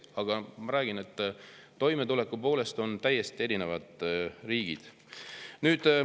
Aga ma räägin, et toimetuleku poolest me oleme täiesti erinevad riigid.